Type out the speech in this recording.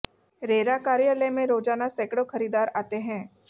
RERA कार्यालय में रोजाना सैकड़ों खरीदार आते हैं